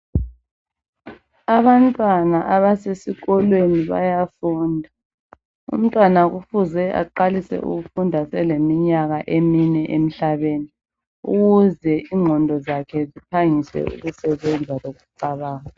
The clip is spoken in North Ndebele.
Abantwana abasesikolweni bayafunda umntwana kufuze aqalise ukufunda eselemnyaka emine emhlabeni ukuze ingqondo zakhe ziphangise ukusebenza loku cabanga.